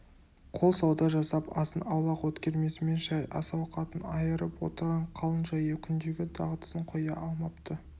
қол сауда жасап азын-аулақ өткермесімен шай ас-ауқатын айырып отырған қалың жаяу күндегі дағдысын қоя алмапты